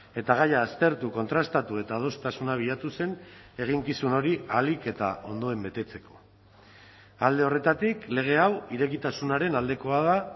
eta gaia aztertu kontrastatu eta adostasuna bilatu zen eginkizun hori ahalik eta ondoen betetzeko alde horretatik lege hau irekitasunaren aldekoa da